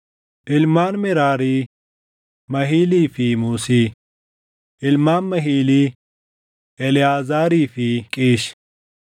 Ilmaan Meraarii: Mahilii fi Muusii. Ilmaan Mahilii: Eleʼaazaarii fi Qiish.